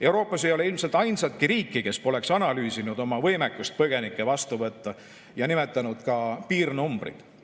Euroopas ei ole ilmselt ainsatki riiki, kes poleks analüüsinud oma võimekust põgenikke vastu võtta, ja nimetanud ka piirnumbrid.